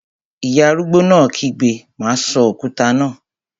Ìyá arúgbó náà kígbe, "má sọ òkúta náà!"